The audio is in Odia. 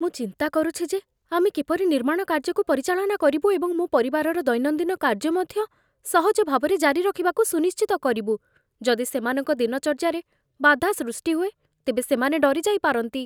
ମୁଁ ଚିନ୍ତା କରୁଛି ଯେ ଆମେ କିପରି ନିର୍ମାଣ କାର୍ଯ୍ୟକୁ ପରିଚାଳନା କରିବୁ ଏବଂ ମୋ ପରିବାରର ଦୈନନ୍ଦିନ କାର୍ଯ୍ୟ ମଧ୍ୟ ସହଜ ଭାବରେ ଜାରି ରଖିବାକୁ ସୁନିଶ୍ଚିତ କରିବୁ। ଯଦି ସେମାନଙ୍କ ଦିନଚର୍ଯ୍ୟାରେ ବାଧା ସୃଷ୍ଟି ହୁଏ, ତେବେ ସେମାନେ ଡରି ଯାଇପାରନ୍ତି।